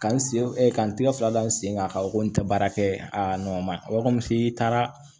Ka n sen ka n tigɛ fila da n sen kan ko n tɛ baara kɛ a n nɔ ma i taara